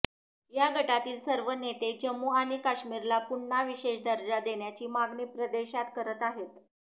या गटातील सर्व नेते जम्मू आणि काश्मीरला पुन्हा विशेष दर्जा देण्याची मागणी प्रदेशात करत आहेत